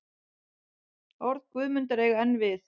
Orð Guðmundar eiga enn við.